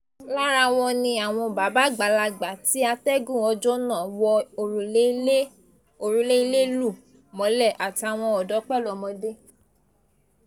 lára wọn ni àwọn bàbá àgbàlagbà tí atẹ́gùn ọjọ́ náà wọ òrùlé ilé lù mọ́lẹ̀ àtàwọn ọ̀dọ́ pẹ̀lú ọmọdé